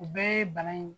U bɛɛ ye bana in